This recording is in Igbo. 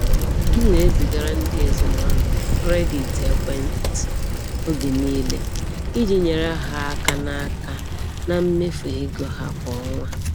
M na-ezigara ndị ezinụlọ m kredit ekwentị oge niile iji nyere ha aka na aka na mmefu ego ha kwa ọnwa.